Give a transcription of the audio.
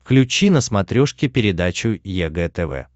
включи на смотрешке передачу егэ тв